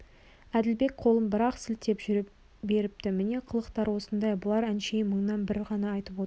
әділбек қолын бір-ақ сілтеп жүре беріпті міне қылықтары осындай бұлар әншейін мыңнан бірін ғана айтып отырған